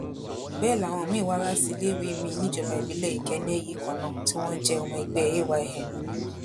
bẹẹ làwọn miín wá láti iléèwé miín níjọba ìbílẹ̀ ìkẹ́né yìí kan náà tí wọn jẹ́ ọmọ ẹgbẹ́ ayn